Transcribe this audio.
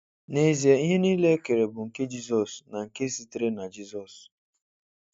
N'ezie, ihe niile ekere bụ nke Jizọs na nke sitere na Jizọs